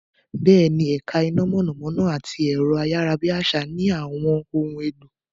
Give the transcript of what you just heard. Bẹ́ẹ̀ni, ẹ̀ka iná mọ̀nàmọ́ná àti ẹ̀rọ-ayárabíàsá ní àwọn ohun èlò.